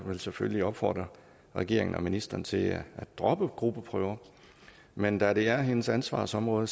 vil selvfølgelig opfordre regeringen og ministeren til at droppe gruppeprøver men da det er hendes ansvarsområde